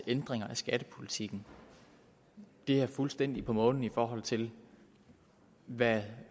ændringer af skattepolitikken er fuldstændig på månen i forhold til hvad vi